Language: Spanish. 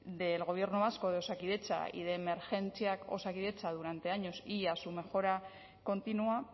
del gobierno vasco de osakidetza y de emergentziak osakidetza durante años y a su mejora continua